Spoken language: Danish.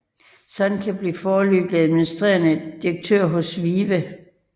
Csonka blev foreløbig administrerende direktør hos VIVE